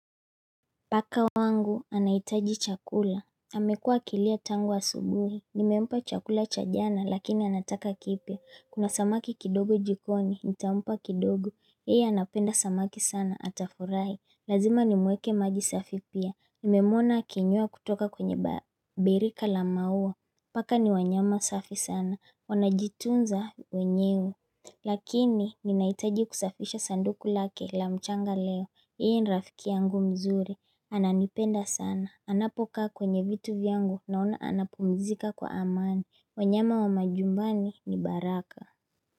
Paka wangu anahitaji chakula. Amekuwa akilia tangu asubuhi. Nimempa chakula cha jana lakini anataka kipya. Kuna samaki kidogo jikoni, nitampa kidogo. Yeye anapenda samaki sana. Atafurahi. Lazima nimwekee maji safi pia. Nimemwona akinywea kutoka kwenye birika la maua. Paka ni wanyama safi sana. Wanajitunza wenyewe. Lakini ninahitaji kusafisha sanduku lake la mchanga leo Yeye ni rafikia yangu mzuri. Ananipenda sana, anapokaa kwenye vitu vyangu naona anapumzika kwa amani. Wanyama wa majumbani ni baraka.